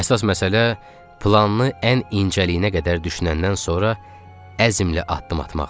Əsas məsələ planı ən incəliyinə qədər düşünəndən sonra əzmlə addım atmaqdır.